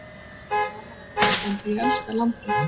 Það var gaman að vera á Íslandi, ég elska landið.